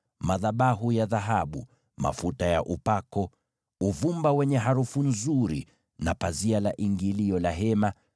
madhabahu ya dhahabu, mafuta ya upako, uvumba wenye harufu nzuri na pazia la ingilio la hema;